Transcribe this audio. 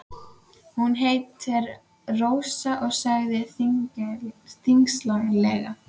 Hún hét Rósa, sagði hann þyngslalega.